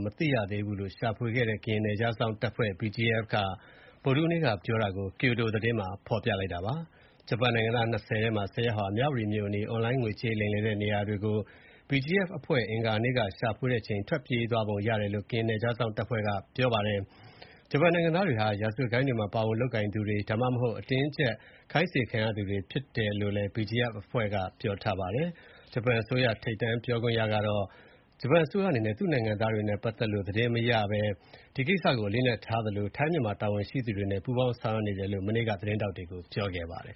မသိသေးဘူးလို့ ကရင်နယ်ခြားစောင့်တပ်ဖွဲ့ BGF ရဲ့အပြောကို ဂျပန် Kyodo သတင်းမှာ ဖော်ပြခဲ့ပါတယ်။ အွန်လိုင်းငွေလိမ်လုပ်ငန်းနေရာတွေမှာ ကရင် BGF က အင်္ဂါနေ့က ရှာဖွေချိန် ဂျပန်အယောက် ၂၀ ထဲက ၁၀ ယောက် ထွက်ပြေးသွားပုံရတယ်လို့ ကရင်နယ်ခြားစောင့်တပ်ဖွဲ့က ပြောပါတယ်။ ဂျပန်နိုင်ငံသားတွေဟာ ရာဇဝတ်ဂိုဏ်းတွေမှာ ပါဝင်လုပ်ကိုင်သူတွေ၊ ဒါမှမဟုတ် အတင်းအကျပ်ခိုင်းစေခံနေရသူတွေဖြစ်တယ်လို့လည်း BGF အဖွဲ့က ပြောပါတယ်။ ဂျပန်အစိုးရ ထိပ်တန်းပြောခွင့်ရ Yoshimasa Hayashi ကတော့ ဂျပန်အစိုးရအနေနဲ့ သူ့နိုင်ငံသားတွေနဲ့ ပတ်သက်လို့ ဘာသတင်းမှ မရတဲ့အကြောင်းနဲ့၊ ဒီကိစ္စကို အလေးအနက်ထားသလို၊ ထိုင်း မြန်မာနိုင်ငံက တာဝန်ရှိသူတွေနဲ့ ပူးပေါင်းဆောင်ရွက်ရွက်နေတဲ့အကြောင်း သတင်းထောက်တွေကို ပြောကြားခဲ့ပါတယ်